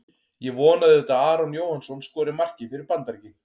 Ég vona auðvitað að Aron Jóhannsson skori markið fyrir Bandaríkin.